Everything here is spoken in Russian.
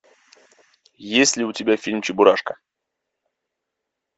есть ли у тебя фильм чебурашка